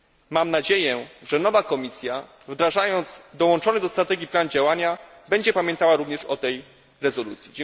Mam nadzieję, że nowa Komisja, wdrażając dołączony do strategii plan działania, będzie pamiętała również o tej rezolucji.